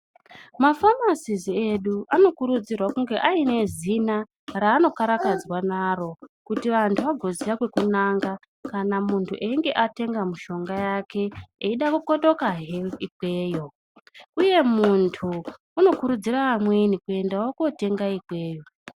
Mafamasisi edu , anokurudzirwa kunge aine zina raanokaradzwa naro ,kuti vantu vagoziva kwekunanga kana muntu einge atenga mushonga yake, eida kukotokazve ikweyo. Uye muntu unokurudzira amweni kuendawo kotenga ikweyo.